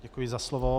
Děkuji za slovo.